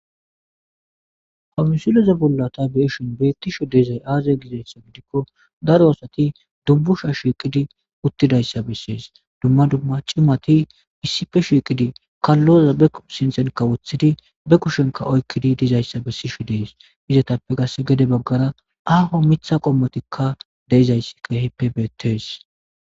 hamusileze bollata beeshin beettisho deizay aaza gizayssa gidikko daro aasati dubbusha shiiqidi uttidayssa bessees dumma dumma cimati issife shiiqidi kalloza be sinsenkka woththidi be kushenka oykkidi dizayssa bessishi dees izatappe gas gede baggara aaho mitha qommotikka deezayssi kehippe beetees.